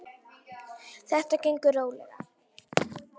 Þetta gengur rólega.